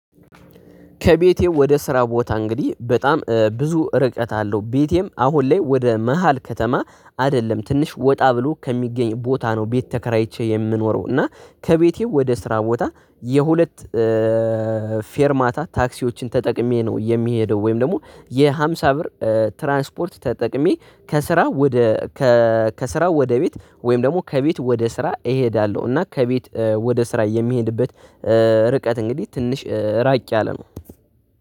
ከቤቴ ወደ ስራ ቦታ እንግዲህ በጣም ብዙ ርቀት አለው ቤቴም አሁን ላይ ወደ መሃል ከተማ አይደለም ትንሽ ወጣ ብሎ ከሚገኝ ቦታ ነው። ቤት ተከራይቼ የምኖረው እና ከቤቴ ወደ ስራ ቦታ የሁለት ፌር ማታ ታክሲዎችን ተጠቅሜ ነው የሚሄደው። ወይም ደግሞ የሃምሳ ብር ትራንስፖርት ተጠቅሜ ከስራ ወደ ከስራ ወደ ቤት። ወይም ደግሞ ከቤት ወደ ስራ እሄዳለሁ። እና ከቤት ወደ ስራ የሚሄድበት ርቀት እንግዲህ ትንሽ ራቅ ያለ ነው